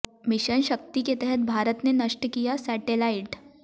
mission Shakti के तहत भारत ने नष्ट किया सैटेलाइट